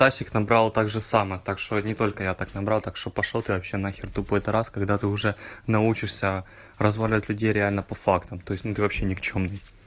набрал так же самое так что они только я так набрал так что пошёл ты вообще на хер тупой это раз когда ты уже научишься разводят людей реально по фактам то есть ну ты вообще никчёмный